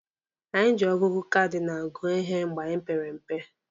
Anyị ji ọgụgụ kadinalụ gụọ ihe mgbe anyị pere mpe.